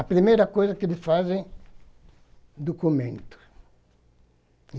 A primeira coisa que eles fazem é documento.